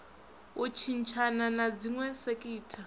u tshintshana na dziwe sekitha